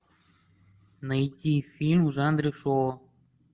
найти фильм в жанре шоу